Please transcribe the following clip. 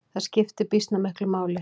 Það skiptir býsna miklu máli.